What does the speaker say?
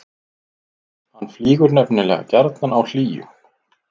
hann flýgur nefnilega gjarnan á hlýjum